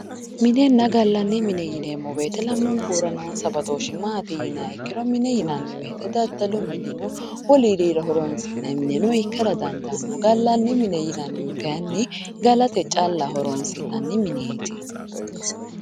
minenna gallanni mine yineemmo wote lamunkura noonsa badooshshi maati yiniha ikkiro mine yinanni wote daddalu mineno wolurirano horonsi'nanniha ikkara dandaanno gallanni mine yinannihu kayiinni galate calla horonsi'nanni mineeti.